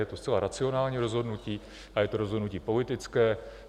Je to zcela racionální rozhodnutí a je to rozhodnutí politické.